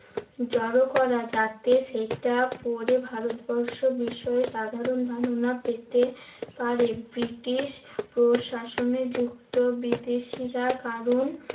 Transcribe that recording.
জড়ো করা, যাতে সেটা পড়ে ভারতবর্ষ বিষয় সাধারণ ধারণা পেতে পারে। ব্রিটিশ প্রশাসনে যুক্ত বিদেশিরা কারণ